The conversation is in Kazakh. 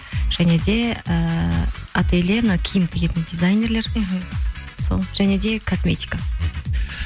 және де ііі ателье мына киім тігетін дизайнерлер мхм сол және де косметика